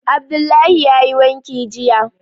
Abdullahi yayi wanki jiya